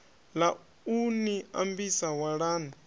ḽa u ni ambisa walani